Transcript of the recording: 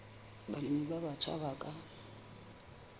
balemi ba batjha ba ka